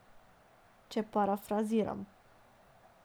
Če parafraziram.